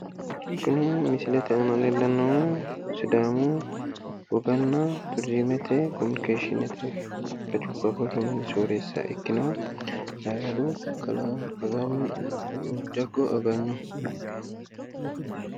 Kuni misilete aana leellannohu sidaamu woganna turiizimete kominikeshiinete hajjubba borro mini soorreessa ikkinohu ayyradu kalaa jaggo aganyoho.